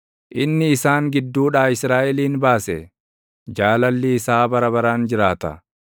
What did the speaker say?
inni isaan gidduudhaa Israaʼelin baase; Jaalalli isaa bara baraan jiraata.